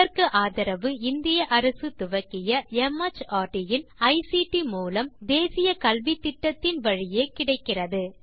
இதற்கு ஆதரவு இந்திய அரசு துவக்கிய மார்ட் இன் ஐசிடி மூலம் தேசிய கல்வித்திட்டத்தின் வழியே கிடைக்கிறது